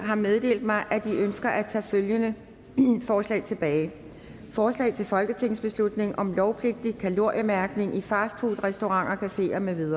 har meddelt mig at de ønsker at tage følgende forslag tilbage forslag til folketingsbeslutning om lovpligtig kaloriemærkning i fastfoodrestauranter cafeer med